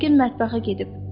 Yəqin mətbəxə gedib.